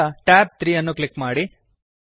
ಈಗ ಟ್ಯಾಬ್ 3 ಅನ್ನು ಕ್ಲಿಕ್ ಮಾಡಿ